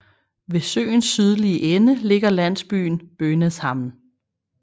Ved søens sydlige ende ligger landsbyen Bonäshamn